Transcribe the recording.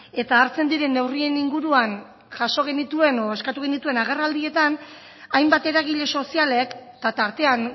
eta hartzen diren neurrien inguruan jaso genituen edo eskatu genituen agerraldietan hainbat eragile sozialek eta tartean